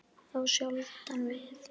Þá sjaldan við